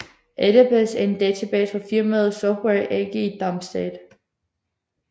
Adabas er en database fra firmaet Software AG i Darmstadt